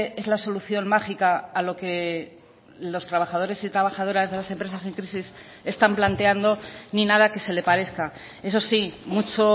es la solución mágica a lo que los trabajadores y trabajadoras de las empresas en crisis están planteando ni nada que se le parezca eso sí mucho